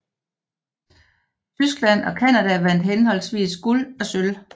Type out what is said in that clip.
Tyskland og Canada vandt henholdsvis guld og sølv